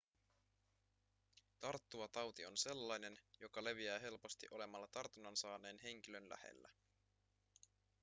tarttuva tauti on sellainen joka leviää helposti olemalla tartunnan saaneen henkilön lähellä